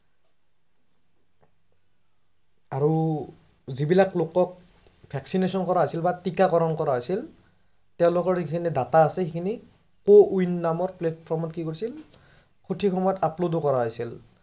আৰু যিবিলাক লোকক vaccination কৰা হৈছিল বা টিকাকৰন কৰা হৈছিল তেওলোকৰ যিখিনি data আছিল সেইখিনি cowin নামৰ platform সথিক সময়ত upload কৰা হৈছিল